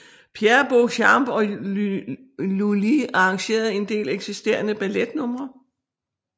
Pierre Beauchamp og Lully arrangerede en del eksisterende balletnumre